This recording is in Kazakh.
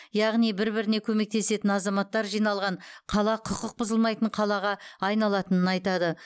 яғни бір біріне көмектесетін азаматтар жиналған қала құқық бұзылмайтын қалаға айналатынын айтады